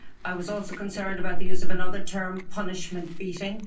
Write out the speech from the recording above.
I was also concerned about the use of another term punishment beating.